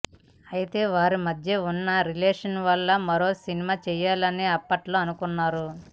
అయితే వారి మధ్య ఉన్న రిలేషన్ వల్ల మరో సినిమా చేయాలని అప్పట్లో అనుకొన్నారు